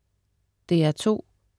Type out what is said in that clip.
DR2: